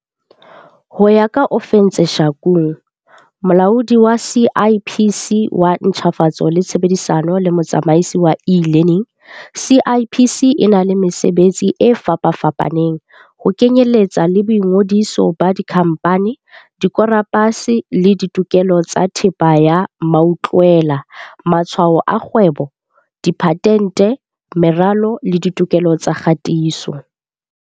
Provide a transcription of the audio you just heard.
Ho ya ka Ofentse Shakung, Molaodi wa CIPC wa Ntjhafatso le Tshebedisano le Motsamaisi wa E-learning, CIPC e na le mesebetsi e fapafapaneng, ho kenyeletsa le boingodiso ba dikhamphani, dikoporasi le ditokelo tsa thepa ya mautlwela, matshwao a kgwebo, diphatente, meralo le ditokelo tsa kgatiso.